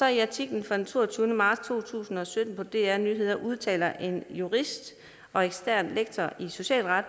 i artiklen fra den toogtyvende marts to tusind og sytten på dr nyheder udtaler en jurist og ekstern lektor i socialret